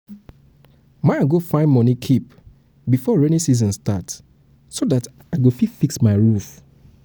my go find money keep before rainy season start so that i go fix my roof